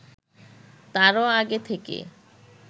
তারও আগে থেকে